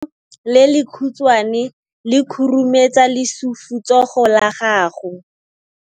Letsogo le lekhutshwane le khurumetsa lesufutsogo la gago.